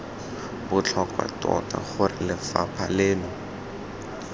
botlhokwa tota gore lefapha leno